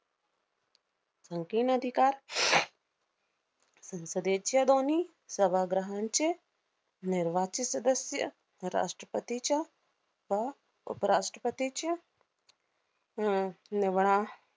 संपूर्ण अधिकार संसदेच्या दोन्ही सभाग्रहांचे निर्वाचित सदस्य, राष्ट्रपतीच्या व उपराष्ट्रपतीच्या आह नवना~